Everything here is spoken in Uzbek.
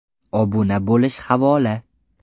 Obuna bo‘lish havola .